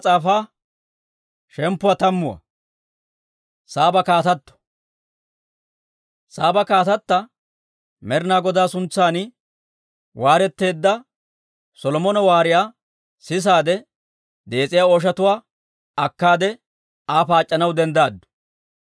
Saaba kaatatta Med'inaa Godaa suntsan waareteedda Solomona waariyaa sisaade, dees'iyaa ooshatuwaa akkaade, Aa paac'c'anaw denddaaddu.